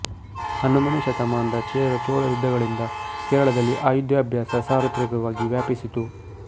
ಹನ್ನೊಂದನೆ ಶತಮಾನದ ಚೇರ ಚೋಳ ಯದ್ಧಗಳಿಂದ ಕೇರಳದಲ್ಲಿ ಆಯುಧಾಭ್ಯಾಸ ಸಾರ್ವತ್ರಿಕವಾಗಿ ವ್ಯಾಪಿಸಿತು